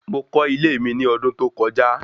Mo kọ́ ilé mi ní ọdún tó kọjá